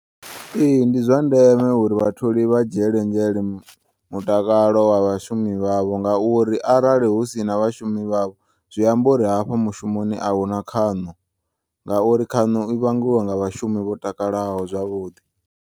Ee, ndi zwandeme uri vhatholi vha dzhiele nzhele mutakalo vhashumi vhavho ngauri arali husina vhashumi vhavho zwiambori hafha mushumoni ahuna khaṋo ngauri khaṋo i vhangiwa nga vhashumi vho takalaho zwavhuḓi.